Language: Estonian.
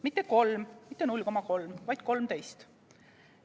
Mitte kolm, mitte 0,3, vaid 13.